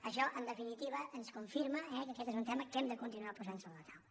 això en definitiva ens confirma que aquest és un tema que hem de continuar posant sobre la taula